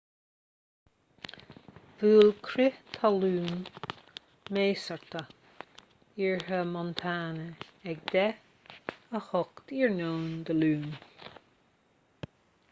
bhuail crith talún measartha iarthar montana ag 10:08 i.n. dé luain